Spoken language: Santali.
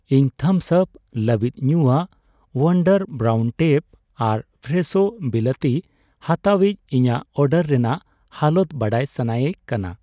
ᱤᱧ ᱛᱷᱟᱢᱥ ᱟᱯ ᱞᱟᱹᱵᱤᱫ ᱧᱩᱭᱟᱜ, ᱣᱳᱱᱰᱟᱨ ᱵᱨᱟᱭᱩᱱ ᱴᱮᱯ ᱟᱨ ᱯᱷᱨᱮᱥᱷᱳ ᱵᱤᱞᱟᱹᱛᱤ ᱦᱟᱛᱟᱣᱤᱡᱽ ᱤᱧᱟᱜ ᱚᱰᱟᱨ ᱨᱮᱱᱟᱜ ᱦᱟᱞᱚᱛ ᱵᱟᱰᱟᱭ ᱥᱟᱱᱟᱭᱮ ᱠᱟᱱᱟ ᱾